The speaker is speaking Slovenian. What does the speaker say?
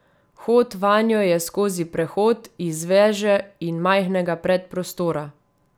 Vhod vanjo je skozi prehod iz veže in majhnega predprostora.